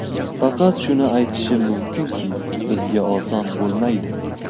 Faqat shuni aytishim mumkinki, bizga oson bo‘lmaydi.